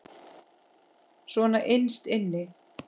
Svona innst inni.